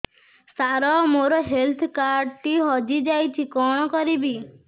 ସାର ମୋର health card ଟି ହଜି ଯାଇଛି କଣ କରିବି